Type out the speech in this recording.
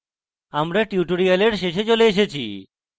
আমরা tutorial শেষে চলে এসেছি